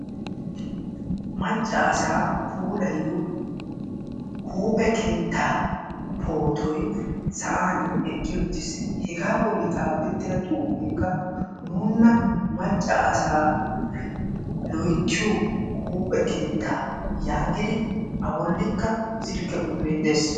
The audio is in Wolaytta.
maccassa puulayiyoo poottoy sa'an eqqi uttiis hega bolli xaafetida xuufekka nuuna macca asaa loyttiyo huuphe keetta yaagidi a bolli silkke quxure des